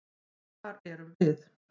Hvar erum við?